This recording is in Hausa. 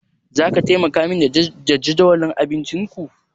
Zaka taimaka min da jadawalin abincinku?